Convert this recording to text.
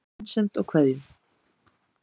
Með vinsemd og kveðjum